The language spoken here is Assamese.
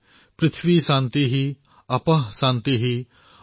ॐ द्यौः शान्तिः अन्तरिक्षं शान्तिः